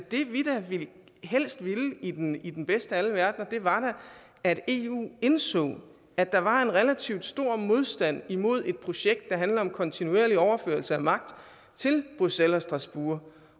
vi helst ville i den i den bedste af alle verdener var da at eu indså at der var en relativt stor modstand imod et projekt der handler om kontinuerlig overførsel af magt til bruxelles og strasbourg